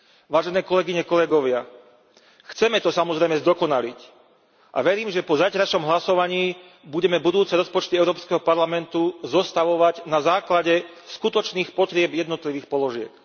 Vážené kolegyne, kolegovia, chceme to samozrejme zdokonaliť a verím, že po zajtrajšom hlasovaní budeme budúce rozpočty Európskeho parlamentu zostavovať na základe skutočných potrieb jednotlivých položiek.